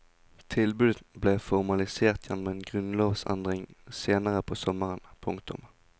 Tilbudet ble formalisert gjennom en grunnlovsendring senere på sommeren. punktum